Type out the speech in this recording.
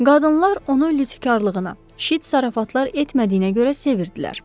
Qadınlar onu lütfkarılığına, şit zarafatlar etmədiyinə görə sevirdilər.